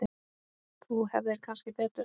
Þú hefðir kannski betur.